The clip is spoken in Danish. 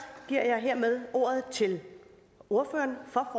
ordet til ordføreren for